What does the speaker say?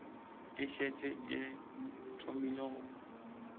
e šetše e thomile go